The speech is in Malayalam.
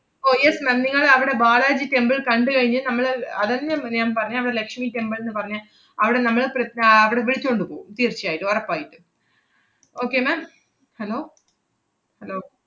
ഓ yes ma'am നിങ്ങള് അവടെ ബാലാജി temple കണ്ട് കഴിഞ്ഞ് നമ്മള് അഹ് അതന്നെയാ മ്~ ഞാൻ പറഞ്ഞെ, അവടെ ലക്ഷ്മി temple ന്ന് പറഞ്ഞെ. അവടെ നമ്മള് പ്രി~ ആഹ് അവടെ വിളിച്ചോണ്ടു പോം തീർച്ചയായിട്ടും, ഒറപ്പായിട്ടും. okay ma'am hello hello